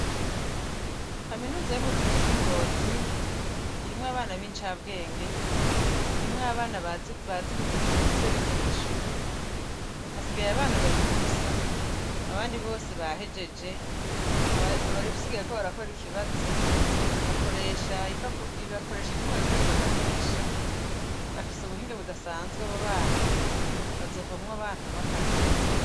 Kaminuza yubuvuzi yingozi irimwo abana bicambwenge irimwo abana bazi gukuirikiza ivyo bize mwishure hasigaye abana babiri gusa abandi bose bahejeje abasigaye bariko barakora ikibazo bakoresha inyuma bita rugagamisha bafise ubuhinga budasanzwe abo bana bazovamwo akarorero